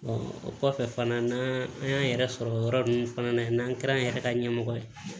o kɔfɛ fana n'an an y'an yɛrɛ sɔrɔ yɔrɔ nunnu fana na yen n'an kɛra an yɛrɛ ka ɲɛmɔgɔ ye